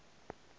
ik ga se be sa